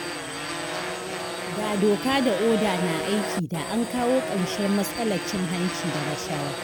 Da doka da oda na aiki da an kawo ƙarshen matsalar cin hanci da rashawa.